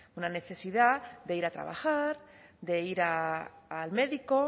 una necesidad de ir a trabajar de ir al médico